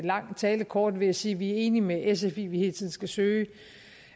lang tale kort ved at sige at vi er enige med sf i at vi hele tiden skal søge